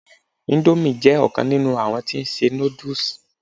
Indomie jé òkan nínú àwọn tí n se noodles